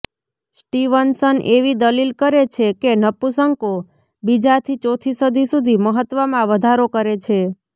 Stevenson એવી દલીલ કરે છે કે નપુંસકો બીજાથી ચોથી સદી સુધી મહત્વમાં વધારો કરે છે